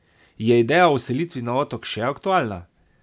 Je ideja o selitvi na otok še aktualna?